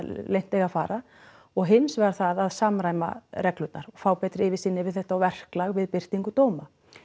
leynt eiga að fara og hins vegar það að samræma reglurnar og fá betri yfirsýn yfir þetta og verklag við birtingu dóma